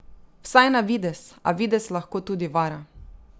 Vsaj na videz, a videz lahko tudi vara.